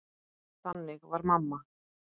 Þannig var mamma.